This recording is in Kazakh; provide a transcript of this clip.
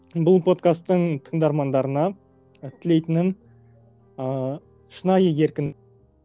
бұл подкастың тындармандарына тілейтінім ыыы шынайы еркін